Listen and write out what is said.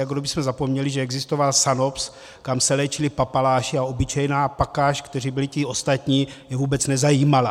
Jako kdybychom zapomněli, že existoval SANOPZ, kde se léčili papaláši, a obyčejná pakáž, kteří byli ti ostatní, je vůbec nezajímala!